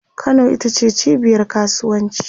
Kano ita ce cibiyar kasuwanci